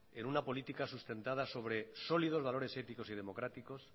en una política sustentada sobre sólidos valores éticos y democráticos